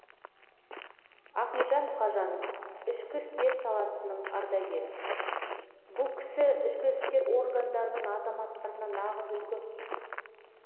ахметжан мұқажанов ішкі істер саласының ардагері бұл кісі ішкі істер органдарының азаматтарына нағыз үлгі